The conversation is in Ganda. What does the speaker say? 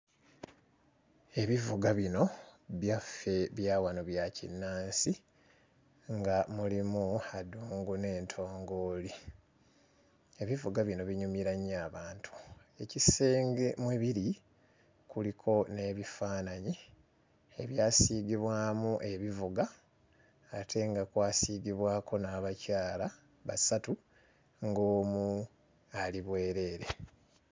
Ebivuga bino byaffe bya wano bya kinnansi nga mulimu adungu n'entongooli, ebivuga bino binyumira nnyo abantu. Ekisenge mwe biri kuliko n'ebifaananyi ebyasiigibwamu ebivuga ate nga kwasiigibwako n'abakyala basatu, ng'omu ali bwereere.